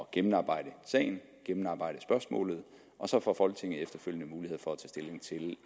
gennemarbejde sagen gennemarbejde spørgsmålet og så får folketinget efterfølgende mulighed for